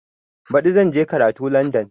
Baɗi zan je karatu Landan